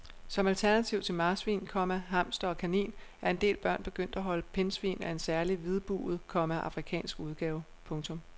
Som alternativ til marsvin, komma hamster og kanin er en del børn begyndt at holde pindsvin af en særlig hvidbuget, komma afrikansk udgave. punktum